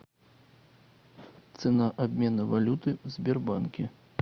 цена обмена валюты в сбербанке